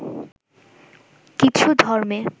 কিছু ধর্মে